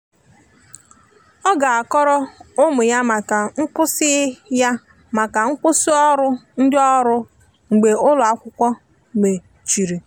ọ ga akọrọ ụmụ ya maka nkwụsi ya maka nkwụsi ọrụ ndi ọrụ mgbe ụlọ akwụkwo mecheri.